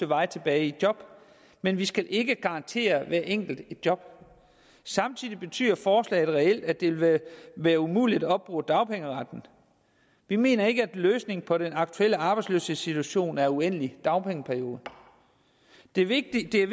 vej tilbage i job men vi skal ikke garantere hver enkelt et job samtidig betyder forslaget reelt at det vil være umuligt at opbruge dagpengeretten vi mener ikke at løsningen på den aktuelle arbejdsløshedssituation er en uendelig dagpengeperiode det er vigtigt at